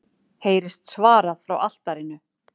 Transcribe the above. heyrist svarað frá altarinu.